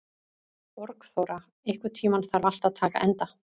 Borgþóra, einhvern tímann þarf allt að taka enda.